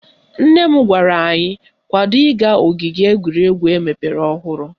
Nne m gwara anyị kwado ịga ogige egwuregwu emepere ọhụrụ